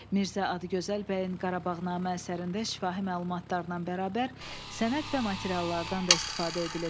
Mirzə Adıgözəl bəyin Qarabağnamə əsərində şifahi məlumatlarla bərabər sənəd və materiallardan da istifadə edilib.